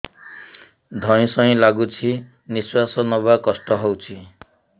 ଧଇଁ ସଇଁ ଲାଗୁଛି ନିଃଶ୍ୱାସ ନବା କଷ୍ଟ ହଉଚି